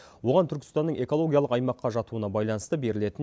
оған түркістанның экологиялық аймаққа жатуына байланысты берілетін